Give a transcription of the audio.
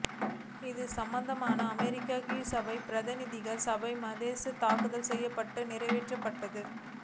இது சம்பந்தமாக அமெரிக்க கீழ் சபையான பிரதிநிதிகள் சபையில் மசோதா தாக்கல் செய்யப்பட்டு நிறைவேற்றப்பட்டது